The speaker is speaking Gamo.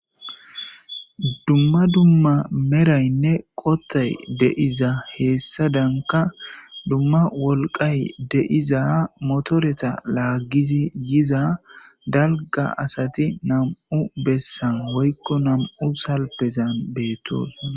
dumma dumma meraynne qottay deiza heessadanka dumma wolqay deiza motoreta laaggizi yiza dalga asati nam7u bessan woykko nam7u salpezan beetos